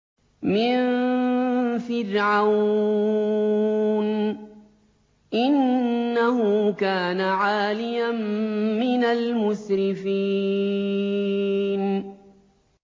مِن فِرْعَوْنَ ۚ إِنَّهُ كَانَ عَالِيًا مِّنَ الْمُسْرِفِينَ